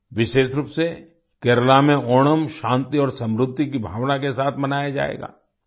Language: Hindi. विशेष रूप से केरला में ओणम शांति और समृद्धि की भावना के साथ मनाया जाएगा